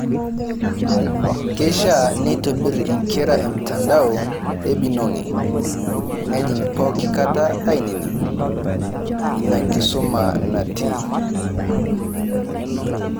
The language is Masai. Keishaa neitobir inkera emtandao e binogi, nejing' pooki kata ainining' ina kisuma natii